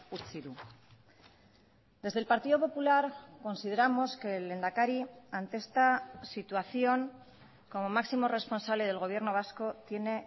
utzi du desde el partido popular consideramos que el lehendakari ante esta situación como máximo responsable del gobierno vasco tiene